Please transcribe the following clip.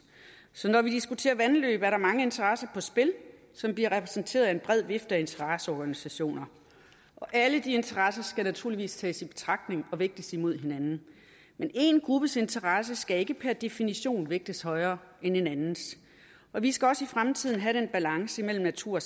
så når vi diskuterer vandløb er der mange interesser på spil som bliver repræsenteret af en bred vifte af interesseorganisationer alle de interesser skal naturligvis tages i betragtning og vægtes imod hinanden men én gruppes interesse skal ikke per definition vægtes højere end en andens og vi skal også i fremtiden have den balance mellem natur